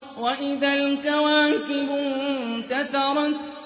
وَإِذَا الْكَوَاكِبُ انتَثَرَتْ